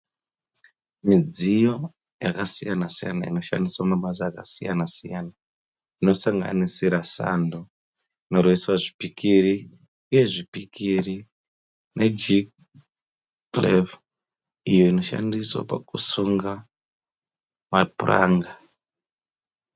Midziyo yakasiyana-siyana inoshandiswa mabasa akasiyana-siyana. Inosanganisira sando inoroveswa zvipikiri uye zvipikiri nejikipurevhu iyo inoshandiswa pakusunga mapuranga.